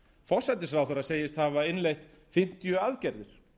forsætisráðherra segist hafa innleitt fimmtíu aðgerðir